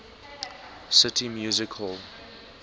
city music hall